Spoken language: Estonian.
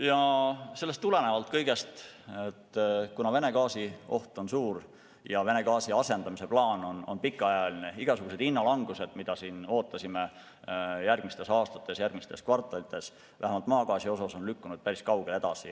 Ja sellest kõigest tulenevalt, kuna Vene gaasitarne katkemise oht on suur ja Vene gaasi asendamise plaan on pikaajaline, on igasugused hinnalangused, mida ootasime järgmistel aastatel, järgmistel kvartalitel juhtuvat, vähemalt maagaasi osas lükkunud päris kaugele edasi.